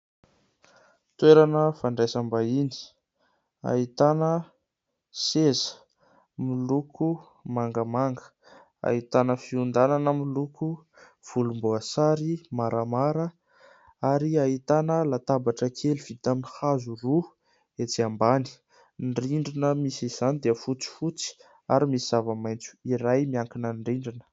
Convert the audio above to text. Toerana fandraisam-bahiny ahitana seza miloko mangamanga, ahitana fiondanana miloko volomboasary maramara, ary ahitana latabatra kely vita amin'ny hazo roa etsy ambany. Ny rindrina misy izany dia fotsifotsy ary misy zava-maitso iray miankina amin'ny rindrina.